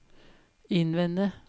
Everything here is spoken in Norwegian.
innvende